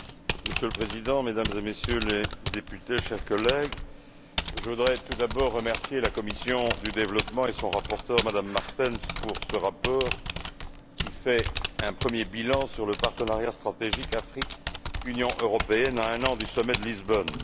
Monsieur le Président, Mesdames et Messieurs les députés, chers collègues, je voudrais tout d'abord remercier la commission du développement, et son rapporteur, Mme Martens, pour ce rapport qui fait un premier bilan sur le partenariat stratégique Afrique Union européenne à un an du sommet de Lisbonne.